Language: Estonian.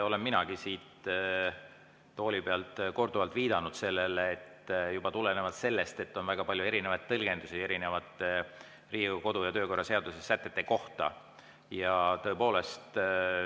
Olen minagi siit tooli pealt korduvalt viidanud sellele, juba tulenevalt sellest, et on väga palju tõlgendusi Riigikogu kodu‑ ja töökorra seaduse erinevate sätete kohta.